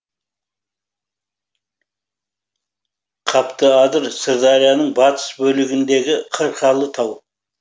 қаптыадыр сырдарияның батыс бөлігіндегі қырқалы тау